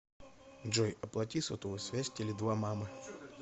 джой оплати сотовую связь теле два мамы